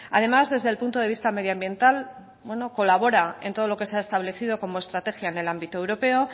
además desde el punto de vista medioambiental bueno colabora en todo lo que se ha establecido como estrategia en el ámbito europeo